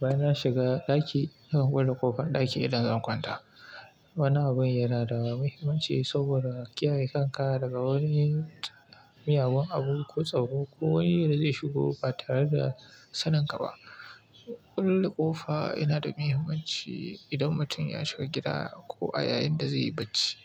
baya na shiga ɗaki nakan kulle ƙofar ɗaki idan zan kwanta. Wani abun yana da muhimmanci saboda kiyaye kanka daga wani miyagun abu ko tsaro ko wani da zai shigo ba tare da saninka ba. Kulle ƙofa yana da muhimmanci idan mutum ya shiga gida ko a yayin da zai yi bacci.